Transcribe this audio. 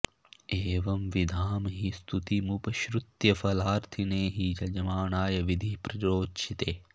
एवंविधां हि स्तुतिमुपश्रुत्य फलार्थिने हि यजमानाय विधिः प्ररोचते